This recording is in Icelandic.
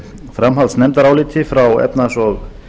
framhaldsnefndaráliti frá efnahags og